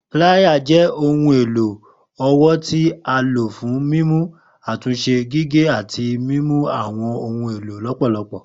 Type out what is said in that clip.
Plier jẹ ohun elo ọwọ ti a lo fun mimu, atunse, gige ati mimu awọn ohun elo lọpọlọpọ